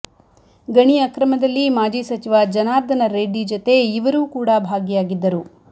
ಗಣಿ ಅಕ್ರಮದಲ್ಲಿ ಮಾಜಿ ಸಚಿವ ಜನಾರ್ದನ ರೆಡ್ಡಿ ಜತೆ ಇವರೂ ಕೂಡ ಭಾಗಿಯಾಗಿದ್ದರು